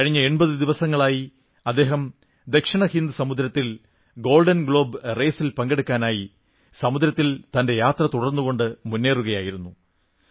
കഴിഞ്ഞ 80 ദിവസങ്ങളായി അദ്ദേഹം ദക്ഷിണ ഹിന്ദ് സമുദ്രത്തിൽ ഗോൾഡൻ ഗ്ലോബ് റേസിൽ പങ്കെടുക്കാനായി സമുദ്രത്തിൽ തന്റെ യാത്ര തുടർന്നുകൊണ്ട് മുന്നേറുകയായിരുന്നു